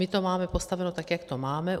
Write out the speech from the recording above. My to máme postaveno tak, jak to máme.